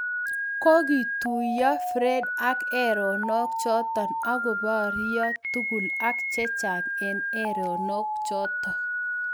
Kikotuiyo friede ak erenok chotok akopario tugul ak chechang eng erenok chotok